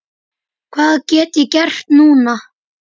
Hvað get ég gert núna?